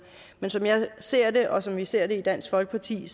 men som jeg ser det og som vi ser det i dansk folkeparti